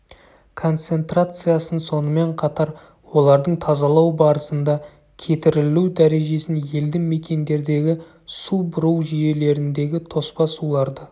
концентрациясын сонымен қатар олардың тазалау барысында кетірілу дәрежесін елді мекендердегі су бұру жүйелеріндегі тоспа суларды